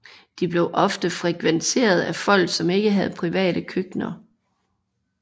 De blev ofte frekventeret af folk som ikke havde private køkkener